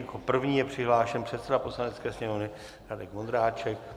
Jako první je přihlášen předseda Poslanecké sněmovny Radek Vondráček.